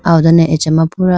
aw done acha ma pura.